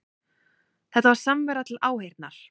Þetta var samvera til áheyrnar